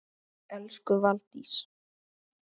Elsku Valdís.